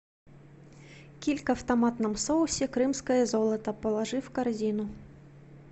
килька в томатном соусе крымское золото положи в корзину